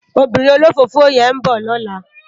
Óbìrín ólófófó yèn n bò lòlá